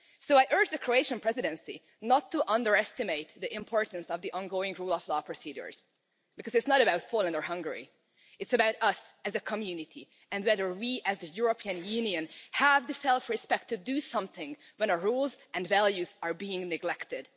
I urge the Croatian Presidency not to underestimate the importance of the ongoing rule of law procedures, because it's not about Poland or Hungary, it's about us as a community and whether we, as the European Union, have the self respect to do something when our rules and values are being neglected.